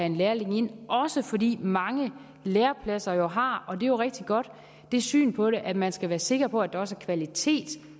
en lærling ind også fordi mange lærepladser jo har og det er rigtig godt det syn på det at man skal være sikker på at der også er kvalitet